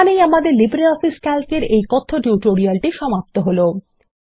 এখানেই আমাদের LibreOffice Calc এর এই কথ্য টিউটোরিয়াল সমাপ্ত হলো